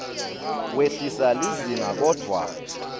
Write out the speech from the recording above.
wehlisa lizinga kodvwa